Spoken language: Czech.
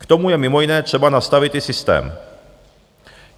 K tomu je mimo jiné třeba nastavit i systém.